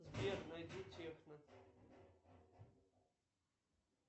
сбер найди техно